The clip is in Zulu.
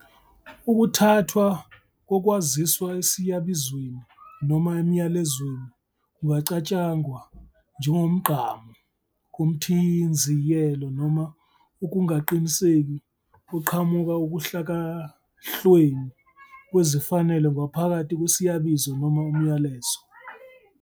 Ukuthathwa kokwaziswa esiyabizweni noma emyalezweni kungacatshangwa njengomgqamo womthinziyelo noma ukungaqiniseki oqhamuka ukuhlakahlweni kwezifanelo ngaphakathi kwesiyabizo noma umyalezo.